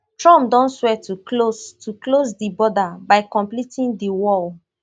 trumpdon swear to close to close di border by completing di wall